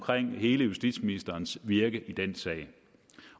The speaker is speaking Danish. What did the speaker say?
hele justitsministerens virke i den sag